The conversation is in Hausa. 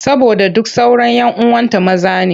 Saboda duk sauran 'yan uwanta maza ne.